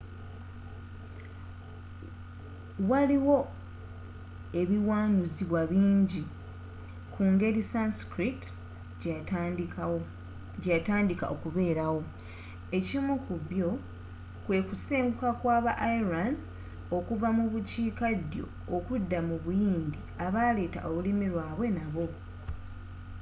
waliwo ebiwanuzibwa bingi ku nger sanskrit gyeyatandika okubeerawo ekimu ku byo kwekusenguka kwaba aryan okuva mu bukiika ddyo okudda mu buyindi abaleeta olulimi lwabwe nabo